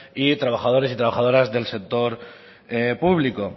y trabajadores y trabajadoras del sector público